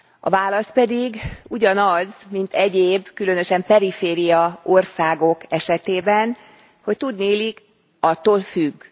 A válasz pedig ugyanaz, mint egyéb, különösen perifériaországok esetében, hogy tudniillik attól függ.